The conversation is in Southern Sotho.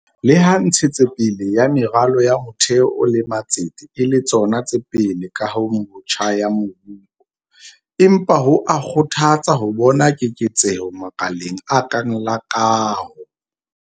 Leha ntshetso pele ya meralo ya motheo le matsete e le tsona tse pele kahong botjha ya moruo, empa ho a kgothatsa ho bona keketseho makaleng a kang la kaho.